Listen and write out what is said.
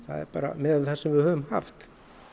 miðað við það sem við höfum haft